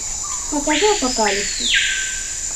покажи апокалипсис